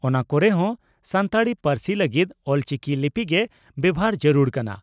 ᱚᱱᱟ ᱠᱚᱨᱮ ᱦᱚᱸ ᱥᱟᱱᱛᱟᱲᱤ ᱯᱟᱹᱨᱥᱤ ᱞᱟᱹᱜᱤᱫ ᱚᱞᱪᱤᱠᱤ ᱞᱤᱯᱤ ᱜᱮ ᱵᱮᱵᱷᱟᱨ ᱡᱟᱹᱨᱩᱲ ᱠᱟᱱᱟ ᱾